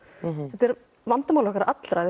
þetta er vandamál okkar allra